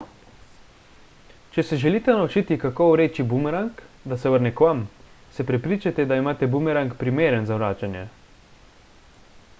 če se želite naučiti kako vreči bumerang da se vrne k vam se prepričajte da imate bumerang primeren za vračanje